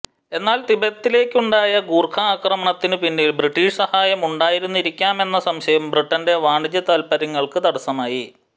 എന്നാൽ തിബത്തിലേക്കുണ്ടായ ഗൂർഖാ ആക്രമണത്തിനു പിന്നിൽ ബ്രിട്ടിഷ് സഹായം ഉണ്ടായിരുന്നിരിക്കാമെന്ന സംശയം ബ്രിട്ടന്റെ വാണിജ്യ താത്പര്യങ്ങൾക്ക് തടസ്സമായി